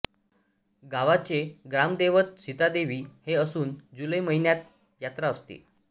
गावाचे ग्रामदैवत सीतादेवी हे असून जुलै महिन्यात यात्रा असते